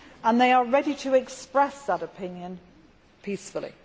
They are ready to express these opinions peacefully.